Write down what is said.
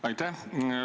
Aitäh!